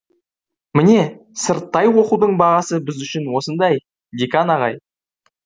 міне сырттай оқудың бағасы біз үшін осындай декан ағай